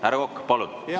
Härra Kokk, palun!